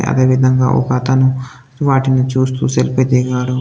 అదేవిధంగా ఒక అతను వాటిని చూస్తూ సెల్ఫీ దిగాడు.